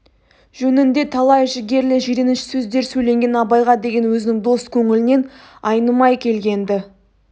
жөнінде талай жігерлі жиреніш сөздер сөйленген абайға деген өзінің дос көңілінен айнымай келген-ді